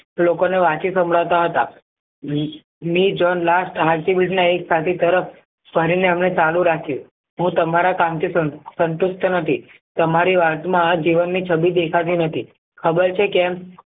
લોકો ને વાંચી સંભળાવતા હતા ચાલુ રાખ્યું હું તમારા કામથી સંતુષ્ટ નથી તમારી વાતમાં આ જીવન ની છબી દેખાતી નથી ખબર છે કેમ